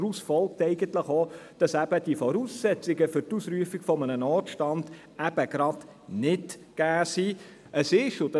Daraus folgt eigentlich schon, dass die Voraussetzungen für die Ausrufung eines Notstands nicht gegeben sind.